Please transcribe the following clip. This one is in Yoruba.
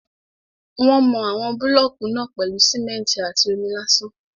Wọ́n mọ àwọn búlọ̀kù náà pèlú simẹ́ntì àti omi lásán.